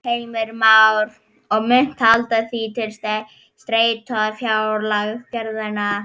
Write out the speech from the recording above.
Heimir Már: Og munt halda því til streitu við fjárlagagerðina?